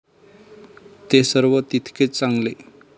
ते सर्व तितकेच चांगले.